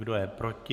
Kdo je proti?